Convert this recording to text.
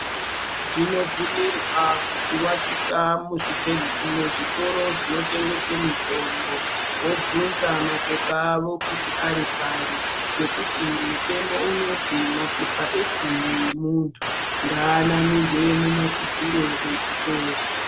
Zvinobvumirwa kuti wasvika muzvitoro zvinotengese mitombo wobvunza mapepa awo kuti ari pari ngekuti mutemo unoti mapepa efundo yemuntu ngaanamirwe mumadziro echitoro.